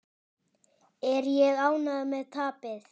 Er ég ánægður með tapið?